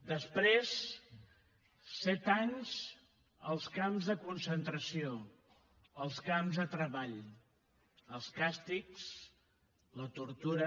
després set anys als camps de concentració als camps de treball els càstigs la tortura